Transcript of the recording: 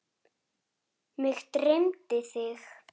Mig dreymdi þig.